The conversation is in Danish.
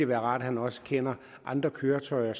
være rart at han også kender andre køretøjer